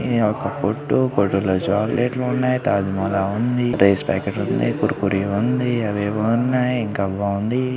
ఇది ఒక కొట్టు కొట్టులో చాక్లెట్ లు ఉన్నాయి. తాజ్ మహల్ ఉంది. లేస్ ప్యాకెట్ లున్నయి. కుర్ కురే ఉంది అవేవో ఉన్నాయి. ఇంకా బాఉంది.